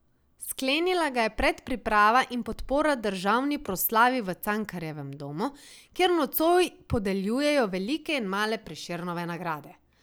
Sklenila ga je predpriprava in podpora državni proslavi v Cankarjevem domu, kjer nocoj podeljujejo velike in male Prešernove nagrade.